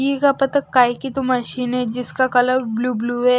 ये क्या पता काहे की तो मशीन है जिसका कलर ब्लू ब्लू है।